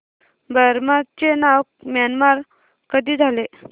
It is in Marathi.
बर्मा चे नाव म्यानमार कधी झाले